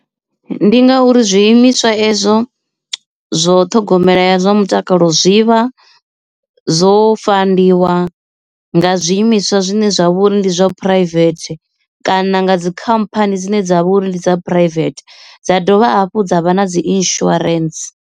Ndi ngauri zwiimiswa ezwo zwo ṱhogomela ya zwa mutakalo zwivha zwo fandiwa dzhiwa nga zwiimiswa zwine zwa vha uri ndi zwa private kana nga dzikhamphani dzine dzavha uri ndi dza private dza dovha hafhu dza vha na dzi insurance.